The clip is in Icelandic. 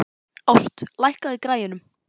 Ást, lækkaðu í græjunum.